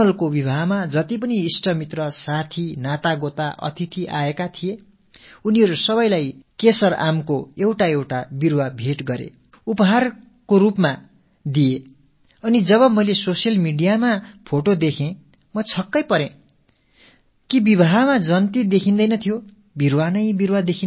சோனலின் திருமணத்துக்கு வந்திருந்த அனைத்து உறவினர்கள் நண்பர்கள் விருந்தாளிகள் அனைவருக்கும் கேஸர் மாஞ்செடி ஒன்றை அன்பளிப்பாக அளித்தார் சமூக வலைத்தளத்தில் நான் படத்தைப் பார்த்த போது ஊர்வலத்தில் எங்கு பார்த்தாலும் மரங்களே தென்பட்டன